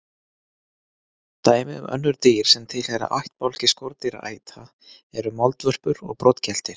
Dæmi um önnur dýr sem tilheyra ættbálki skordýraæta eru moldvörpur og broddgeltir.